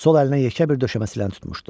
Sol əlinə yekə bir döşəyə siların tutmuşdu.